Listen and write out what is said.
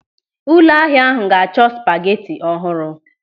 Ụlọ ahịa ahụ ga-achọ spageti ọhụrụ.